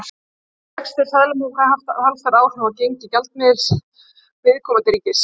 Þá geta vextir seðlabanka haft talsverð áhrif á gengi gjaldmiðils viðkomandi ríkis.